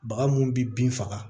Baga mun bi bin faga